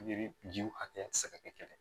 jiw hakɛya tɛ se ka kɛ kelen ye